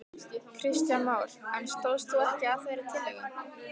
Kristján Már: En stóðst þú ekki að þeirri tillögu?